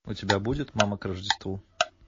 у тебя будет мама к рождеству